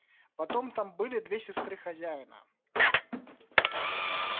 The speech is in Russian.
потом там были две сестры хозяина